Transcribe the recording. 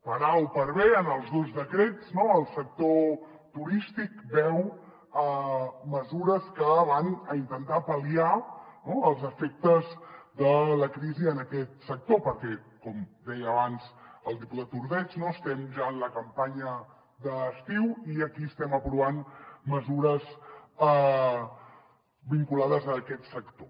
per a o per be en els dos decrets no el sector turístic veu mesures que van a intentar pal·liar els efectes de la crisi en aquest sector perquè com deia abans el diputat ordeig no estem ja en la campanya d’estiu i aquí estem aprovant mesures vinculades a aquest sector